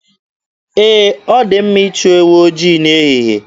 Ee, ọ dị mma ịchụ ewu ojii n'ehihe.